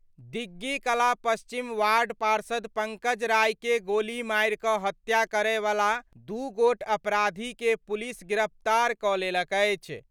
दिग्गी कला पश्चिम वार्ड पार्षद पंकज राय के गोली मारि क' हत्या करय वाला दू गोट अपराधी के पुलिस गिरफ्तार क' लेलक अछि।